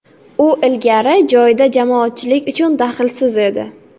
U ilgari joyida jamoatchilik uchun daxlsiz edi.